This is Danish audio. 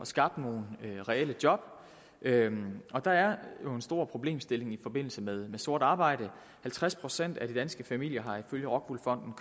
skabt nogle reelle job der er jo en stor problemstilling i forbindelse med sort arbejde halvtreds procent af de danske familier har ifølge rockwool fonden